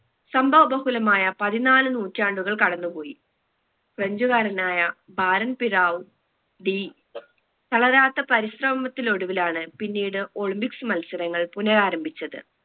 സംഭവ ബഹുലമായ പതിനാല് നൂറ്റാണ്ടുകൾ കടന്ന് പോയി french കാരനായ പാരൻ പിരാവു ഡി തളരാത്ത പരിശ്രമത്തിലൊടുവിലാണ് പിന്നീട് olympics മത്സരങ്ങൾ പുനരാരംഭിച്ചത്